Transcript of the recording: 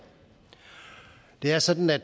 det er sådan at